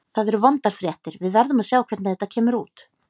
Það eru vondar fréttir, við verðum að sjá hvernig þetta kemur út.